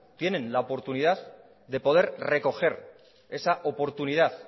tienen la oportunidad de poder recoger esa oportunidad